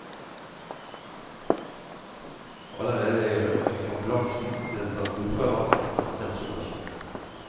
Allerede i ambulansen ble det tatt blodprøver, og konstatert sukkersyke.